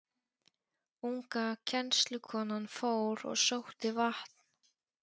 Unga kennslukonan fór og sótti vatn.